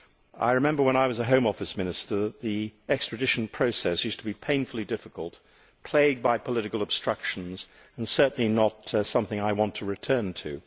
I remember when I was a Home Office Minister the extradition process used to be painfully difficult, plagued by political obstructions, and that is certainly not something I want to return to.